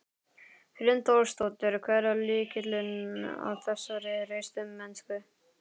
Hrund Þórsdóttir: Hver er lykillinn að þessari hreystimennsku?